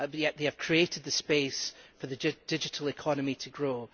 They have created the space for the digital economy to grow.